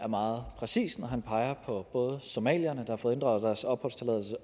meget præcist når han peger på både somalierne har fået inddraget deres opholdstilladelse